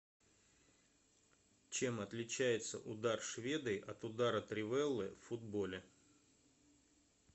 чем отличается удар шведой от удара тривеллы в футболе